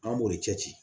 An b'o de cɛ ci